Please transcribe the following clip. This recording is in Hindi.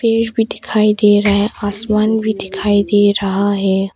पेड़ भी दिखाई दे रहा है आसमान भी दिखाई दे रहा है।